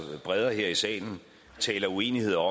bredere her i salen taler uenigheder